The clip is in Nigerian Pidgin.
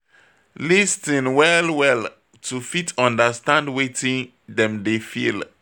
Lis ten well well to fit understand wetin dem dey feel